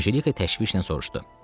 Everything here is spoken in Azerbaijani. Anjelika təşvişlə soruşdu.